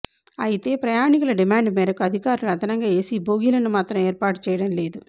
అయితే ప్రయాణికుల డిమాండ్ మేరకు అధికారులు అదనంగా ఏసీ బోగీలను మాత్రం ఏర్పాటు చేయడం లేదు